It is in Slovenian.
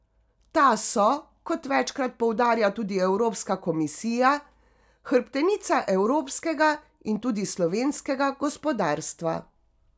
Ta so, kot večkrat poudarja tudi evropska komisija, hrbtenica evropskega in tudi slovenskega gospodarstva.